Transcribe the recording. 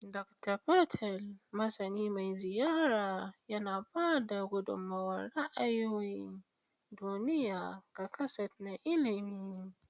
Dokta Patel, masani mai ziyara, yana ba da gudummawar ra'ayoyin duniya ga kaset na ilimi.